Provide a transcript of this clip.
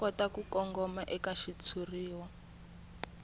kota ku kongoma eka xitshuriwa